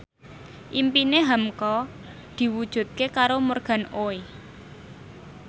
impine hamka diwujudke karo Morgan Oey